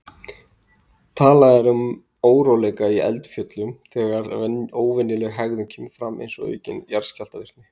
Talað er um óróleika í eldfjöllum þegar óvenjuleg hegðun kemur fram, eins og aukin jarðskjálftavirkni.